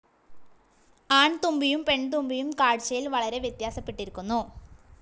ആൺതുമ്പിയും പെൺതുമ്പിയും കാഴ്ച്ചയിൽ വളരെ വ്യത്യാസപ്പെട്ടിരിക്കുന്നു.